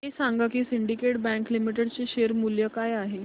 हे सांगा की सिंडीकेट बँक लिमिटेड चे शेअर मूल्य काय आहे